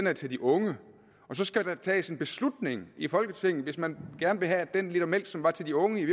er til de unge og så skal der tages en beslutning i folketinget hvis man gerne vil have at den liter mælk som var til de unge i